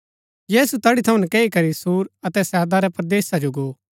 यीशु तैड़ी थऊँ नकैई करी सूर अतै सैदा रै परदेसा जो गो